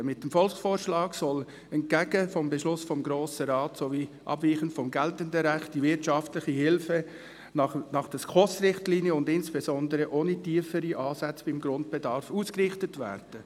Mit dem Volksvorschlag soll entgegen des Beschlusses des Grossen Rates sowie abweichend vom geltenden Recht die wirtschaftliche Hilfe nach den Richtlinien der Schweizerischen Konferenz für Sozialhilfe (SKOSRichtlinien) und insbesondere ohne tiefere Ansätze beim Grundbedarf ausgerichtet werden.